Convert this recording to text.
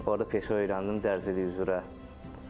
Orada peşə öyrəndim dərzilik üzrə.